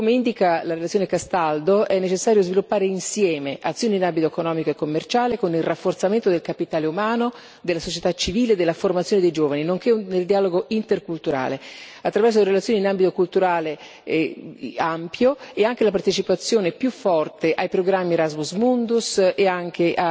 Come indica la relazione Castaldo, è necessario sviluppare insieme azioni in ambito economico e commerciale, con il rafforzamento del capitale umano, della società civile e della formazione dei giovani, nonché del dialogo interculturale attraverso relazioni in ambito culturale ampio e anche la partecipazione più forte ai programmi Erasmus Mundus e anche